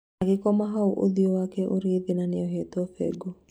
Agĩkoma hau ũthio wake ũrĩ thĩ na nĩohetwo bengo